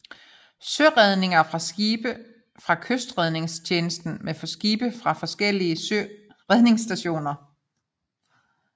Søredninger fra skibe fra Kystredningstjenesten med skibe fra forskellige redningsstationer